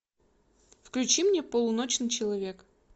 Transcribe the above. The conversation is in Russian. включи мне полуночный человек